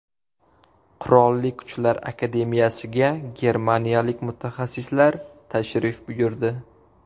Qurolli Kuchlar akademiyasiga germaniyalik mutaxassislar tashrif buyurdi.